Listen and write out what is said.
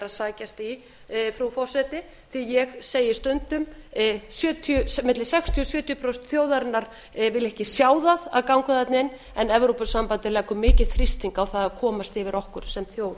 sækja í frú forseti því að ég segi stundum milli sextíu og sjötíu prósent þjóðarinnar vilja ekki sjá það að ganga þarna inn en evrópusambandið leggur mikinn þrýsting á það að komast yfir okkur sem þjóð